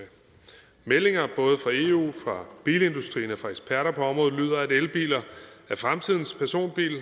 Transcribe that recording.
meldinger både fra eu fra bilindustrien og fra eksperter på området lyder at elbiler er fremtidens personbiler